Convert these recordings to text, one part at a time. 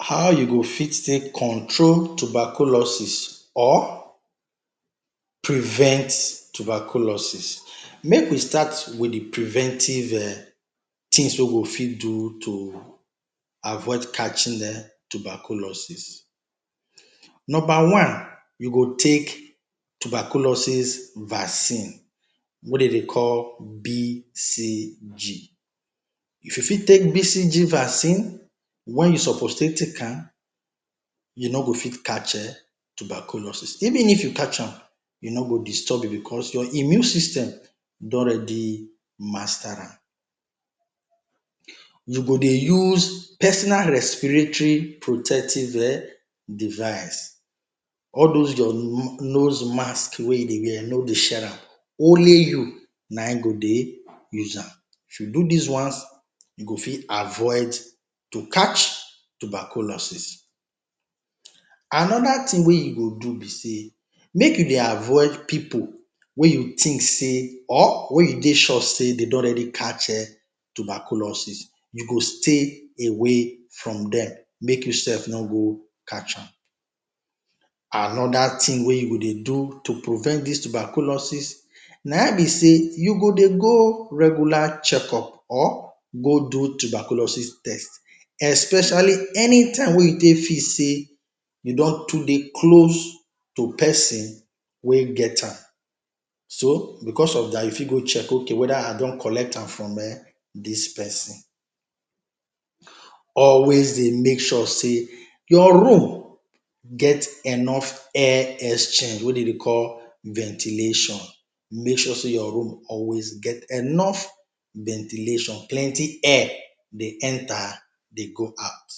How you go fit take control tuberculosis or prevent tuberculosis. Make we start with de preventive um things wey we do fit do to avoid catching um tuberculosis. Number one, you go take tuberculosis vaccine wey dey dey call BCG. If you fit take BCG vaccine when you suppose take take am, you no go fit catch um tuberculosis. Even if you catch am, e no go disturb you becos your immune system don already master am. You go dey use personal respiratory protective um device, all those your nose masks wey you dey wear, no share am, only you na im go dey use am, if you do dis ones, you go fit avoid to catch tuberculosis. Another thing wey you go do be sey, make you dey avoid pipu wey you think sey or wey you dey sure sey dey don already catch um tuberculosis. You go stay away from dem, make you sef no go catch am. Another thing wey you go dey do to prevent dis tuberculosis na im be sey, you go dey go regular checkup or go do tuberculosis test especially anytime wey you take feel sey you don too dey close to person wey get am. So, becos of dat, you fit go check ok whether I don collect am from um dis person. Always dey make sure sey your room get enough air exchange wey dey dey call ventilation, make sure sey your room always get enough ventilation, plenty air dey enter, dey go out.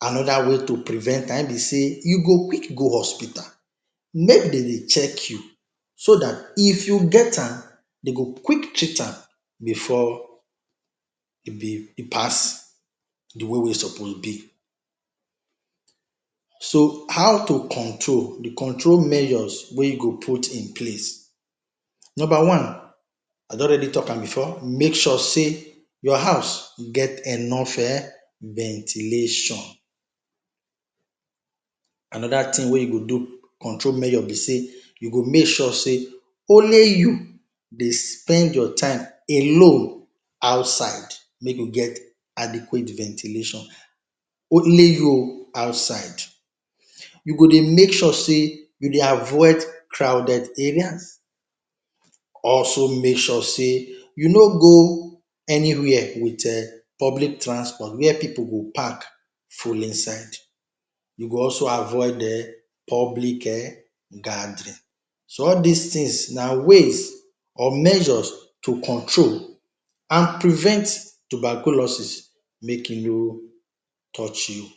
Another way to prevent na im be sey, you go quick go hospital make dem dey check you so dat if you get am, dey go quick treat am before e be, e pass de way wey e suppose be. So how to control, de control measures wey you go put in place. Number one, I don already talk am before, make sure sey your house get enough um ventilation. Another thing wey you go do, control measure be sey, you go make sure sey only you dey spend your time alone outside make you get adequate ventilation, only you o, outside. You go dey make sure sey, you dey avoid crowded areas. Also make sure sey you no go anywhere with um public transport, where pipu go pack full inside. You go also avoid um public um gathering, so all dis things na ways or measures to control and prevent tuberculosis make e no touch you.